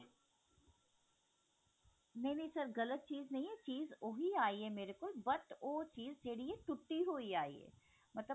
ਨਹੀ ਨਹੀ sir ਗਲਤ ਚੀਜ਼ ਨਹੀ ਹੈ ਚੀਜ਼ ਉਹੀ ਆਈ ਹੈ ਮੇਰੇ ਕੋਲ but ਉਹ ਚੀਜ਼ ਜਿਹੜੀ ਹੈ ਟੁੱਟੀ ਹੋਈ ਆਈ ਹੈ ਮਤਲਬ